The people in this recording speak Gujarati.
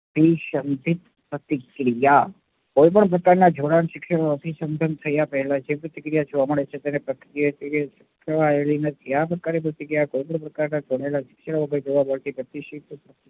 અભીસંધિત પ્રતિક્રિયા, કોઈપણ પ્રકારના જુના નું અભિસંધાન થયા પહેલા જે પ્રતિક્રિયા જોવા મળે છે તેને નથી. આ પ્રકારની પ્રતિક્રિયા